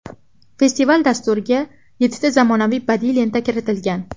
Festival dasturiga yettita zamonaviy badiiy lenta kiritilgan.